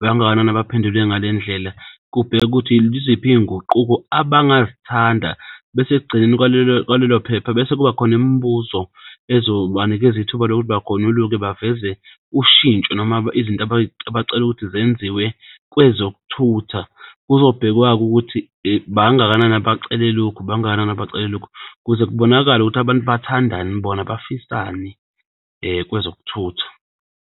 Bangakanani abaphendule ngale ndlela? Kubhekwe ukuthi yiziphi iy'nguquko abangazithanda bese ekugcineni kwalelo kwalelo phepha bese kuba khona imibuzo ezobanikeza ithuba lokuthi bagonyuluke baveze ushintsho noma izinto abacelaukuthi zenziwe kwezokuthutha. Kuzobhekwa-ke ukuthi bangakanani abacele lokhu, bangakanani abacele lokhu kuze kubonakale ukuthi abantu bathandani bona bafisani kwezokuthutha.